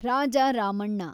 Raja Ramanna